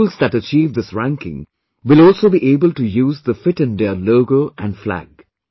The schools that achieve this ranking will also be able to use the 'Fit India' logo and flag